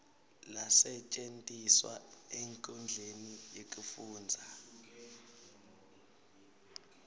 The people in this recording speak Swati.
lasetjentiswa enkhundleni yekufundza